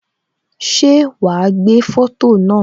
Ṣé wá gbé foto náà